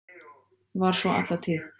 Var svo alla tíð.